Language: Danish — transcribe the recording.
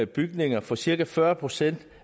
bygninger for cirka fyrre procent